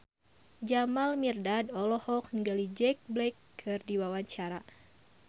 Jamal Mirdad olohok ningali Jack Black keur diwawancara